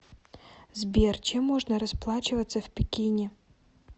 сбер чем можно расплачиваться в пекине